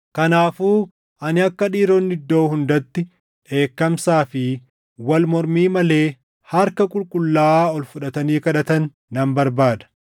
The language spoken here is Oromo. Kanaafuu ani akka dhiironni iddoo hundatti dheekkamsaa fi wal mormii malee harka qulqullaaʼaa ol fudhatanii kadhatan nan barbaada.